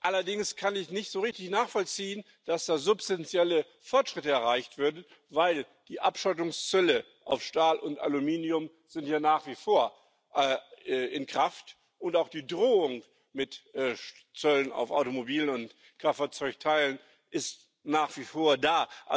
Allerdings kann ich nicht so richtig nachvollziehen, dass da substanzielle Fortschritte erreicht werden, denn die Abschottungszölle auf Stahl und Aluminium sind ja nach wie vor in Kraft, und auch die Drohung mit Zöllen auf Automobil und Kraftfahrzeugteile ist nach wie vor da.